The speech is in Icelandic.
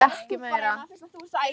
Hún sagði ekki meira.